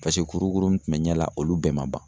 Paseke kurukuru mun tun bɛ ɲɛ la olu bɛɛ ma ban.